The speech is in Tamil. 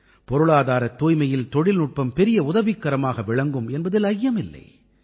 பொருளாதாரத் தூய்மையில் தொழில்நுட்பம் பெரிய உதவிக்கரமாக விளங்கும் என்பதில் ஐயமில்லை